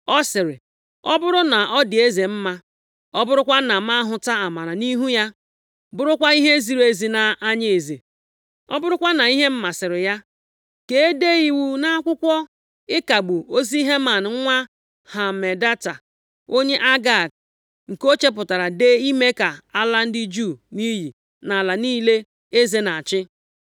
ọ sịrị, “Ọ bụrụ na ọ dị eze mma, ọ bụrụkwa na m hụtara amara nʼihu ya, bụrụkwa ihe ziri ezi nʼanya eze, ọ bụrụkwa na ihe m masịrị ya, ka ede iwu nʼakwụkwọ ịkagbu ozi Heman nwa Hamedata, onye Agag, nke o chepụtara dee ime ka a laa ndị Juu nʼiyi nʼala niile eze na-achị.